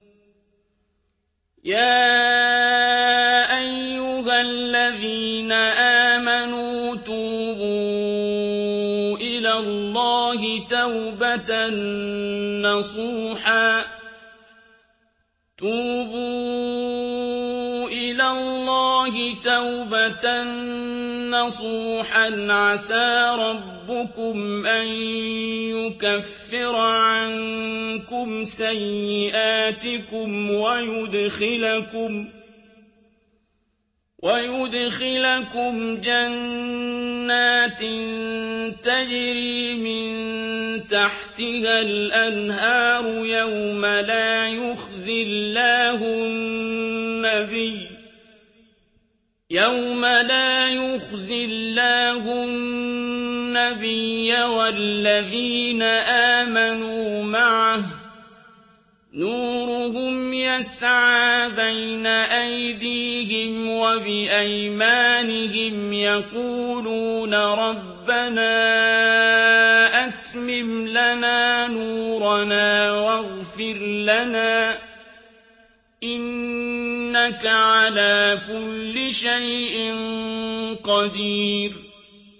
يَا أَيُّهَا الَّذِينَ آمَنُوا تُوبُوا إِلَى اللَّهِ تَوْبَةً نَّصُوحًا عَسَىٰ رَبُّكُمْ أَن يُكَفِّرَ عَنكُمْ سَيِّئَاتِكُمْ وَيُدْخِلَكُمْ جَنَّاتٍ تَجْرِي مِن تَحْتِهَا الْأَنْهَارُ يَوْمَ لَا يُخْزِي اللَّهُ النَّبِيَّ وَالَّذِينَ آمَنُوا مَعَهُ ۖ نُورُهُمْ يَسْعَىٰ بَيْنَ أَيْدِيهِمْ وَبِأَيْمَانِهِمْ يَقُولُونَ رَبَّنَا أَتْمِمْ لَنَا نُورَنَا وَاغْفِرْ لَنَا ۖ إِنَّكَ عَلَىٰ كُلِّ شَيْءٍ قَدِيرٌ